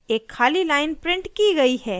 एक खाली line printed की गयी है